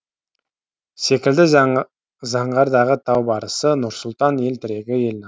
секілді заңғардағы тау барысы нұрсұлтан ел тірегі ел намысы